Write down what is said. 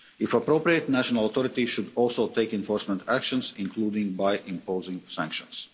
If appropriate, national authorities should also take enforcement actions, including by imposing sanctions.